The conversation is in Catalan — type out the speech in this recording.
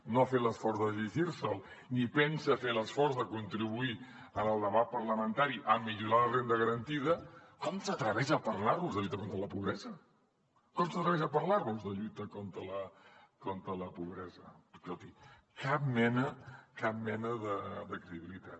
no ha fet l’esforç de llegir se’l ni pensa fer l’esforç de contribuir en el debat parlamentari a millorar la renda garantida com s’atreveix a parlar nos de lluita contra la pobresa com s’atreveix a parlar nos de lluita contra la pobresa escolti cap mena de credibilitat